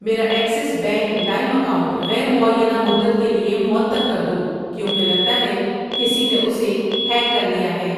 میرا Axis bank لائم account غیر معینہ مدت کے لیے معطل کر دو کیونکہ لگتا ہے کسی نے اسے ہیک کر لیا ہے۔